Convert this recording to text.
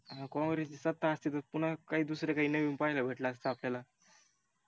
जर काँग्रेसची सत्ता असती तर पून्हा दुसर नविन काही पाहील्या भेटल असत आपल्याला